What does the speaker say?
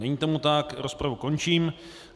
Není tomu tak, rozpravu končím.